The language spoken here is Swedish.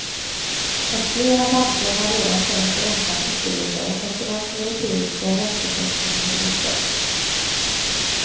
Och flera banker har redan sänkt räntan ytterligare efter den europeiska räntesänkningen i torsdags.